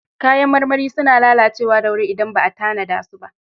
Kayan marmari suna lalacewa da wuri idan ba a tanada su ba.